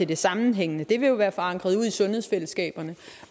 det sammenhængende vil jo være forankret ude i sundhedsfællesskaberne